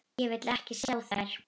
Ég vil ekki sjá þær.